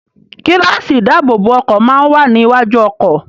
Gíláàsì ìdáàbòbọ̀ ọkọ̀ máa ń wà ní iwájú ọkọ̀.